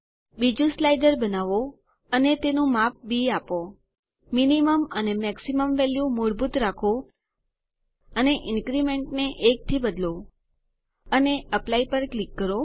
બીજું સ્લાઇડર બનાવો અને તેનું નામ બી આપો મિનિમમ અને મેક્સિમમ વેલ્યુ મૂળભૂત વેલ્યુ રાખો અને ઇન્ક્રીમેન્ટ ને 1 થી બદલો અને એપ્લાય પર ક્લિક કરો